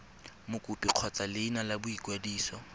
mokopi kgotsa leina la boikwadiso